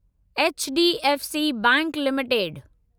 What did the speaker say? H D F C bank limited